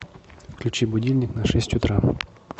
включи будильник на шесть утра